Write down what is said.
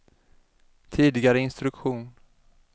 tidigare instruktion